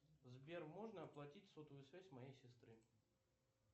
сбер можно оплатить сотовую связь моей сестры